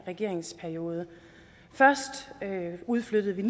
regeringsperiode først udflyttede vi